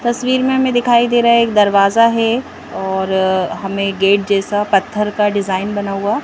तस्वीर में हमें दिखाई दे रहा है एक दरवाजा है और हमें गेट जैसा पत्थर का डिजाइन बना हुआ--